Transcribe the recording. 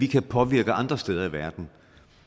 kan påvirke andre steder i verden